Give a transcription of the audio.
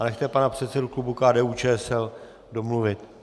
A nechte pana předsedu klubu KDU-ČSL domluvit.